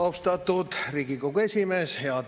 Austatud Riigikogu esimees!